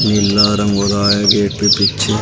नीला रंग हो रहा है गेट पे पीछे--